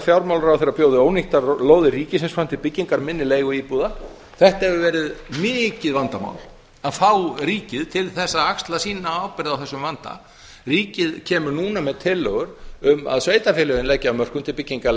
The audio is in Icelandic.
fjármálaráðherra bjóði ónýttar lóðir ríkisins fram til byggingar minni leiguíbúða þetta hefur verið mikið vandamál að fá ríkið til þess að axla sína ábyrgð á þessum vanda ríkið kemur núna með tillögur um að sveitarfélögin leggi af mörkum til byggingar